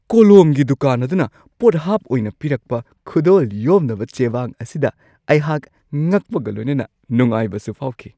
ꯀꯣꯂꯣꯝꯒꯤ ꯗꯨꯀꯥꯟ ꯑꯗꯨꯅ ꯄꯣꯠꯍꯥꯞ ꯑꯣꯏꯅ ꯄꯤꯔꯛꯄ ꯈꯨꯗꯣꯜ ꯌꯣꯝꯅꯕ ꯆꯦꯕꯥꯡ ꯑꯁꯤꯗ ꯑꯩꯍꯥꯛ ꯉꯛꯄꯒ ꯂꯣꯏꯅꯅ ꯅꯨꯡꯉꯥꯏꯕꯁꯨ ꯐꯥꯎꯈꯤ ꯫